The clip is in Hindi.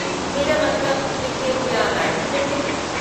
मेरा मतलब क्रिकेट या बैडमिंटन में।